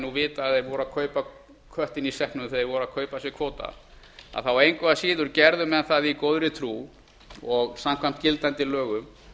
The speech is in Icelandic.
nú vitað að þeir voru að kaupa köttinn í sekknum þegar þeir keyptu sér kvóta að þá engu að síður gerðu menn það í góðri trú og samkvæmt gildandi lögum